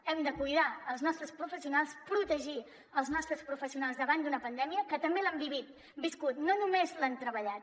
hem de cuidar els nostres professionals protegir els nostres professionals davant d’una pandèmia que també l’han viscut no només l’han treballat